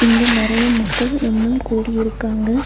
இங்க நெறையா மக்கள் ஒன்னா கூடி இருக்காங்க.